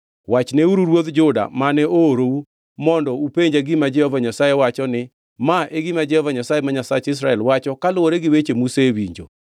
Wachneuru ruodh Juda, mane oorou mondo upenja gima Jehova Nyasaye wacho ni, ‘Ma e gima Jehova Nyasaye ma Nyasach jo-Israel wacho kaluwore gi weche musewinjo.